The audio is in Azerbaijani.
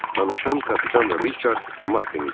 Danışan kapitan Riçard Maddin idi.